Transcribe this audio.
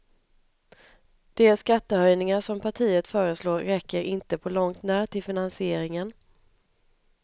De skattehöjningar som partiet föreslår räcker inte på långt när till finansieringen.